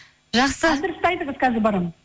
жақсы адресті айтыңыз қазір барамын